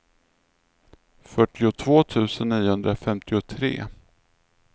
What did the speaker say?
fyrtiotvå tusen niohundrafemtiotre